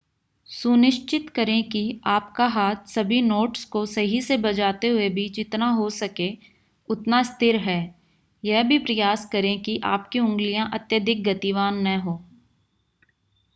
सुनिश्चित करें कि आपका हाथ सभी नोट्स को सही से बजाते हुए भी जितना हो सके उतना स्थिर है यह भी प्रयास करें कि आपकी उंगलियां अत्यधिक गतिवान न हो